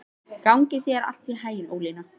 Gangi þér allt í haginn, Ólína.